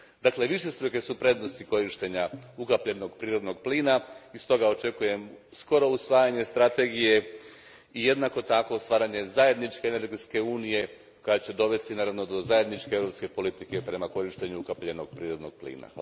Dakle, višestruke su prednosti korištenja ukapljenog prirodnog plina i stoga očekujem skoro usvajanje strategije i jednako tako stvaranje zajedničke energetske unije, koja će dovesti, naravno, do zajedničke europske politike o korištenju ukapljenog prirodnog plina.